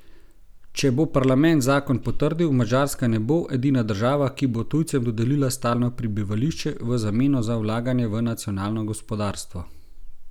Če bo parlament zakon potrdil, Madžarska ne bo edina država, ki bo tujcem dodelila stalno prebivališče v zameno za vlaganje v nacionalno gospodarstvo.